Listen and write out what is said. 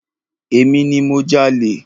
Emi ni mo jalè.